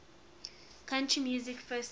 country music festival